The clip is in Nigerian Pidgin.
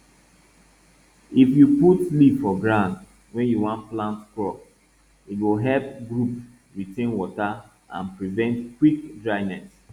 if you put leaf for ground wey you wan plant crop e go help group retain water and prevent quick dryness